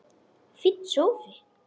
Fínn sófi!